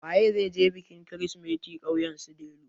Waye zai je bikin kirsimeti ƙauyen su Delu?